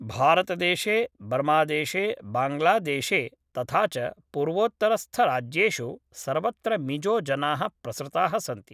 भारतदेशे बर्मादेशे बाङ्ग्लादेशे तथा च पूर्वोत्तरस्थराज्येषु सर्वत्र मिजोजनाः प्रसृताः सन्ति